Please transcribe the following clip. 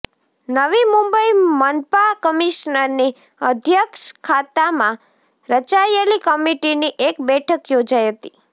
નવી મુંબઈ મનપા કમિશનરની અધ્યક્ષતામાં રચાયેલી કમિટીની એક બેઠક યોજાઈ હતી